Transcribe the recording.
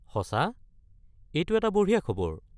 সঁচা? এইটো এটা বঢ়িয়া খবৰ।